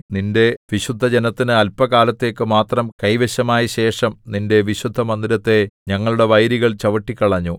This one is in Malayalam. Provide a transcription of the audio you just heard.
നിന്റെ വിശുദ്ധജനത്തിനു അല്പകാലത്തേക്ക് മാത്രം കൈവശമായ ശേഷം നിന്റെ വിശുദ്ധമന്ദിരത്തെ ഞങ്ങളുടെ വൈരികൾ ചവിട്ടിക്കളഞ്ഞു